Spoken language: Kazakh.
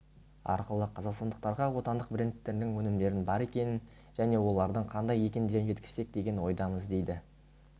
арқылы қазақстандықтарға отандық брендтердің өнімдердің бар екенін және олардың қандай екендерін жеткізсек деген ойдамыз дейді